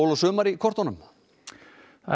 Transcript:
sumar í kortunum það er